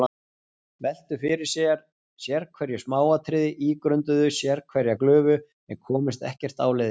Veltu fyrir sér sérhverju smáatriði, ígrunduðu sérhverja glufu, en komust ekkert áleiðis.